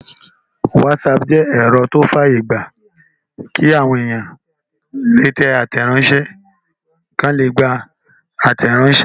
Wásaàpù jẹ́ ẹ̀rọ tó fàyè gbà kí àwọn èèyàn lè tẹ àtẹ̀ránsẹ́ àti kí wọ́n lè gbà àtẹ̀ránsẹ́